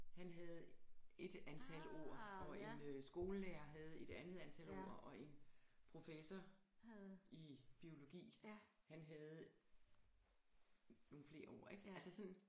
Han havde ét antal ord og en øh skolelærer havde et andet antal ord og en professor i biologi han havde nogle flere ord ikke altså sådan